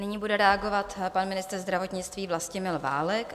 Nyní bude reagovat pan ministr zdravotnictví Vlastimil Válek.